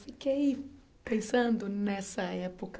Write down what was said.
Fiquei pensando nessa época.